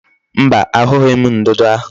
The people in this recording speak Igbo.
Mba, ahughi m ndudu ahu